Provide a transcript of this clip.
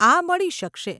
આ મળી શકશે.